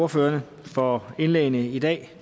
ordførerne for indlæggene i dag